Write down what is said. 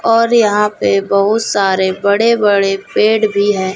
और यहाँ पे बहुत सारे बड़े-बड़े पेड़ भी है।